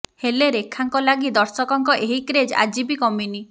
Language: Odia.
ହେଲେ ରେଖାଙ୍କ ଲାଗି ଦର୍ଶକଙ୍କ ଏହି କ୍ରେଜ୍ ଆଜି ବି କମିନି